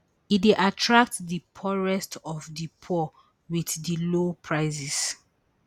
e dey attract di poorest of di poor with di low prices